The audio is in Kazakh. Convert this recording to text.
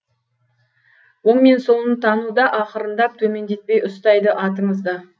оң мен солын тануда ақырындап төмендетпей ұстайды атыңызды